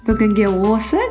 бүгінге осы